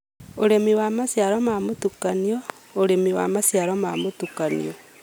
ũrĩmi wa maciaro ma mũtukanio: ũrĩmi wa maciaro ma mũtukanio